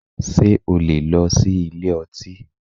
Ṣé o lè lọ sí ilé ọtí?